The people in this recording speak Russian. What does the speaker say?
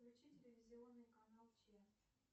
включи телевизионный канал че